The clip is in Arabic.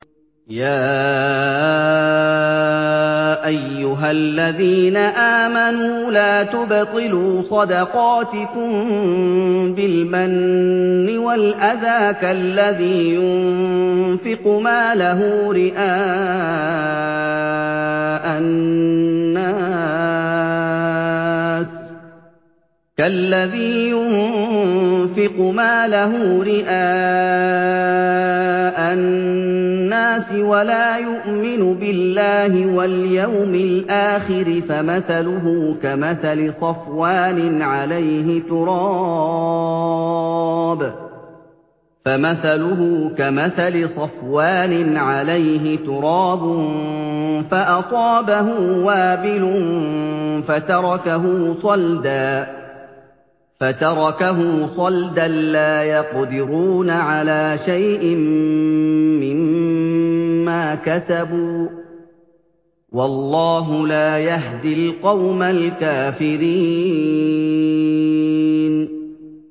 يَا أَيُّهَا الَّذِينَ آمَنُوا لَا تُبْطِلُوا صَدَقَاتِكُم بِالْمَنِّ وَالْأَذَىٰ كَالَّذِي يُنفِقُ مَالَهُ رِئَاءَ النَّاسِ وَلَا يُؤْمِنُ بِاللَّهِ وَالْيَوْمِ الْآخِرِ ۖ فَمَثَلُهُ كَمَثَلِ صَفْوَانٍ عَلَيْهِ تُرَابٌ فَأَصَابَهُ وَابِلٌ فَتَرَكَهُ صَلْدًا ۖ لَّا يَقْدِرُونَ عَلَىٰ شَيْءٍ مِّمَّا كَسَبُوا ۗ وَاللَّهُ لَا يَهْدِي الْقَوْمَ الْكَافِرِينَ